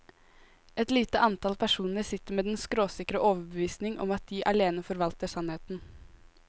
Et lite antall personer sitter med den skråsikre overbevisning om at de alene forvalter sannheten.